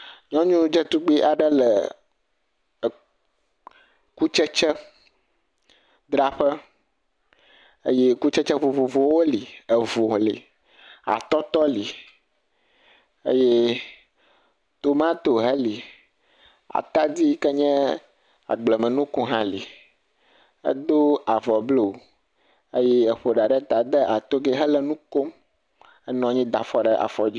Nyɔnu dzetugbi aɖe le kutsetse dzraƒe. Eye kutsetse vovovowo li. Evo li, atɔtɔ li eye tomato heli. Atadi yi ke ŋye agblemenuku hã li. Edo avɔ blu eye eƒo ɖa ɖeta. Edo togɛ hele nu kom. Enɔ nyi da fɔ ɖe afɔ dzi.